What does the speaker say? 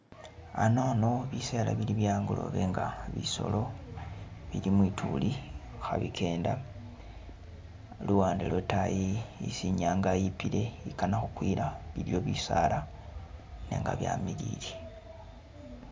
Anano bisela ili bye'angolobe nga bisolo bili mwituli khabikenda luwande lwotayi isi inyanga ipile ikanakhukwila iliyo bisaala nenga byamilile